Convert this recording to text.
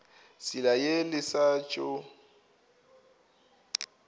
tsela ye le sa tšo